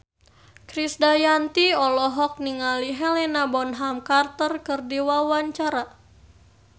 Krisdayanti olohok ningali Helena Bonham Carter keur diwawancara